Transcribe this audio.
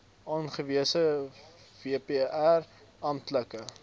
aangewese vpr amptelike